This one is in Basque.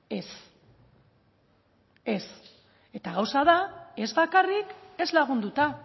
ez ez eta gauza da ez bakarrik ez lagunduta